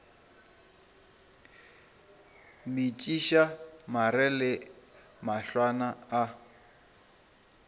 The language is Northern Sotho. metšiša mare le mahlwana a